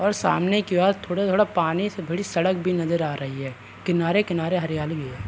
और सामने की ओर थोड़ा थोड़ा पानी से भड़ी सड़क भी नज़र आ रही है। किनारे किनारे हरियाली है।